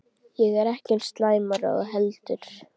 Ég er ekki eins slæmur og þú heldur.